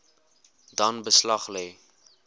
dan beslag lê